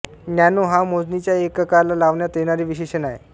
nano हो मोजणीच्या एककाला लावण्यात येणारे विशेषण आहे